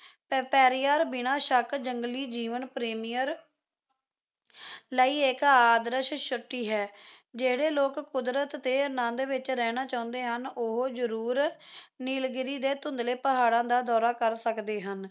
ਪੇਰੀਆਰ ਜੰਗਲੀ ਜੀਵ ਪ੍ਰੇਮੀਆਂ ਲਈ ਇੱਕ ਆਦਰਸ਼ ਛੁੱਟੀ ਹੈ ਜਿਹੜੇ ਲੋਕ ਕੁਦਰਤ ਦੇ ਆਨੰਦ ਦੇ ਵਿੱਚ ਰਹਿਣਾ ਚਾਹੁੰਦੇ ਹਨ ਉਹ ਜਰੂਰ ਨੀਲਗਿਰੀ ਦੇ ਧੁੰਦਲੇ ਪਹਾੜਾਂ ਦਾ ਦੌਰਾ ਕਰ ਸਕਦੇ ਹਨ `